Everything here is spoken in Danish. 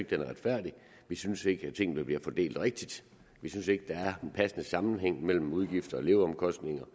den er retfærdig vi synes ikke tingene bliver fordelt rigtigt vi synes ikke der er en passende sammenhæng mellem udgifter og leveomkostninger